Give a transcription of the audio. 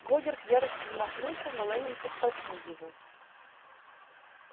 богерт в ярости замахнулся но лэннинг оттолкнул его